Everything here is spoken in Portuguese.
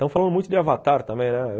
Tão falando muito de Avatar também, né?